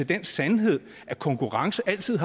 den sandhed at konkurrence altid